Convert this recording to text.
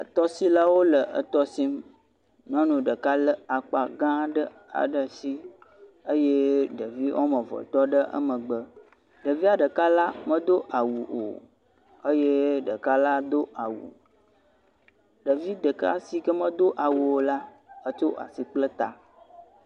Tɔsilawo le tɔsim nyɔnu ɖeka le akpa ga aɖe ɖe asi eye ɖevi eve tɔɖe emgbe ɖevia ɖeka la medo awu o eye ɖeka do awu ɖevi ɖeka si medo awu o la kpla asi ta